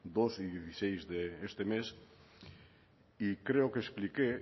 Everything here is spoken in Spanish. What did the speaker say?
dos y seis de este mes y creo que expliqué